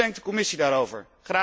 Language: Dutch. Hoe denkt de Commissie daarover?